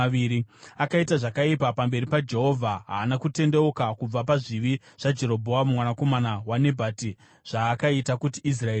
Akaita zvakaipa pamberi paJehovha. Haana kutendeuka kubva pazvivi zvaJerobhoamu mwanakomana waNebhati zvaakaita kuti Israeri iite.